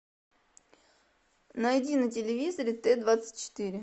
найди на телевизоре т двадцать четыре